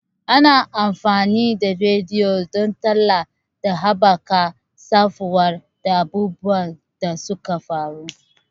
Ana amfani da rediyo don talla da haɓaka samfura da abubuwan da suka faru.